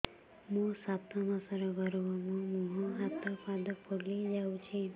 ମୋ ସାତ ମାସର ଗର୍ଭ ମୋ ମୁହଁ ହାତ ପାଦ ଫୁଲି ଯାଉଛି